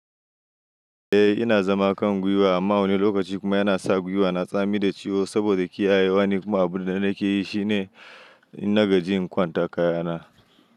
Eh ina zama kan gwiwa amma a wani lokaci kuma yana sa ƙafa na tsami da ciwo saboda kiyayewa ni kuma abin da nake yi shine in nagaji in kwantaka kayana.